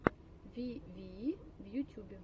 вивии в ютюбе